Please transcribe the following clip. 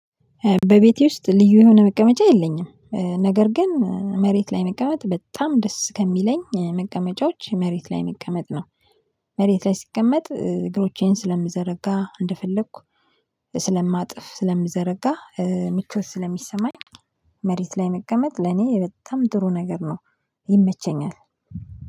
በቤቴ ውስጥ ልዩ የሆነ መቀመጫ የለኝም ነገር ግን መሬት ላይ መቀመጥ በጣም ደስ ከሚለኝ መቀመጫዎች መሬት ላይ መቀመጥ ነው። መሬት ላይይ ስስቀመጥ እግሮቼን ስለምዘረጋ እንደፈለኩ ስለማጥፍ ስለምዘረጋ ምቾት ስለሚሰማኝ። መሬት ላይ መቀመጥ ለኔ በጣም ጥሩ ነገር ነው። ይመቸኛል